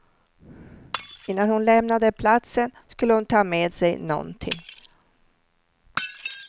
Innan hon lämnade platsen skulle hon ta med sig någonting.